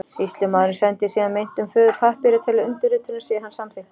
Sýslumaður sendir síðan meintum föður pappíra til undirritunar sé hann samþykkur.